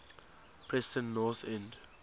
preston north end